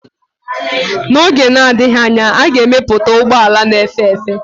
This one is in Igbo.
N'oge na-adịghị anya, a ga-emepụta ụgbọ ala na-efe efe.